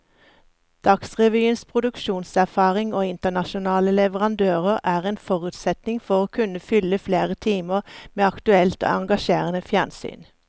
Dagsrevyens produksjonserfaring og internasjonale leverandører er en forutsetning for å kunne fylle flere timer med aktuelt og engasjerende fjernsyn.